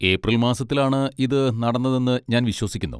April മാസത്തിലാണ് ഇത് നടന്നതെന്ന് ഞാൻ വിശ്വസിക്കുന്നു.